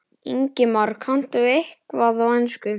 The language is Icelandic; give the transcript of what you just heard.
Ingimar: Kanntu eitthvað í ensku?